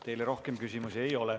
Teile rohkem küsimusi ei ole.